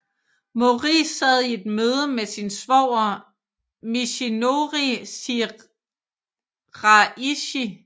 Mori sad i et møde med sin svoger Michinori Shiraishi